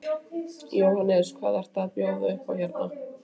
Jóhannes: Hvað eru að bjóða upp á hérna?